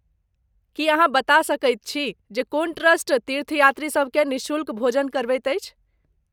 की अहाँ बता सकैत छी जे कोन ट्रस्ट तीर्थयात्रीसभ केँ निःशुल्क भोजन करबैत अछि?